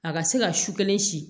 A ka se ka su kelen si